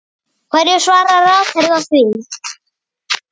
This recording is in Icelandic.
Hverju svarar ráðherra því?